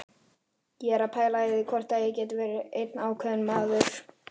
Ég er að pæla í því hvort þetta geti verið einn ákveðinn maður.